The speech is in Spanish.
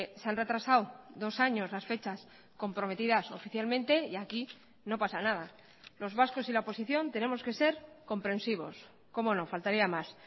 se han retrasado dos años las fechas comprometidas oficialmente y aquí no pasa nada los vascos y la oposición tenemos que ser comprensivos como no faltaría más